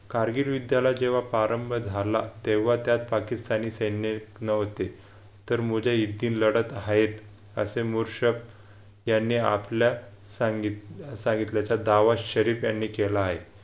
कारगिल विद्याला जेव्हा प्रारंभ झाला तेव्हा त्यात पाकिस्तानी सैन्य नव्हते तर लढत आहेत असे मोषक यांनी आपल्या सांगितले सांगितल्याचा दावा शरीफ यांनी केला आहे